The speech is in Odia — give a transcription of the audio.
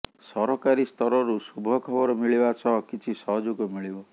ସରକାରୀ ସ୍ତରରୁ ଶୁଭଖବର ମିଳିବା ସହ କିଛି ସହଯୋଗ ମିଳିବ